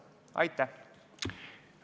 Aitäh!